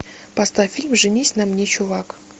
поставь фильм женись на мне чувак